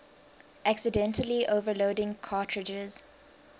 accidentally overloading cartridges